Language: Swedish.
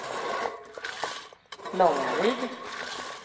Långaryd